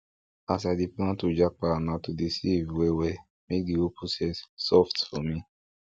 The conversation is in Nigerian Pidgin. as i dey plan to japa na to save well well make the whole process soft for me